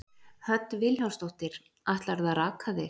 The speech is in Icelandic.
Hödd Vilhjálmsdóttir: Ætlarðu að raka þig?